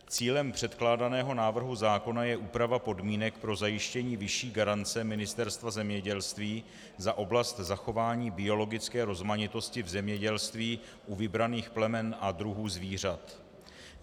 Cílem předkládaného návrhu zákona je úprava podmínek pro zajištění vyšší garance Ministerstva zemědělství za oblast zachování biologické rozmanitosti v zemědělství u vybraných plemen a druhů zvířat.